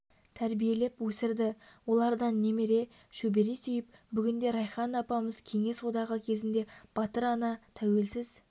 тәрбиелеп өсірді олардан немере шөбере сүйіп бүгінде райхан апамыз кеңес одағы кезінде батыр ана тәуелсіз